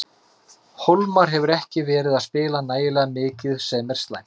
Hólmar hefur ekki verið að spila nægilega mikið sem er slæmt.